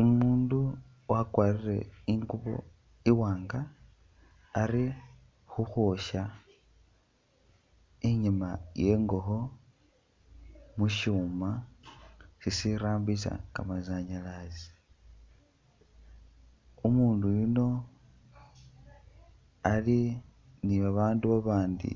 Umuundu wakwarire ingubo iwaanga ali khukhwosya inyaama iye ngokho mu syuuma sisirambisa kamasanyalazi. Umuundu yuno ali ni babaandu babandi